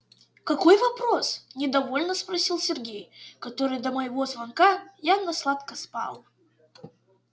какой вопрос недовольно спросил сергей который до моего звонка явно сладко спал